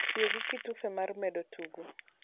tiyogi kitufe mar medo tugo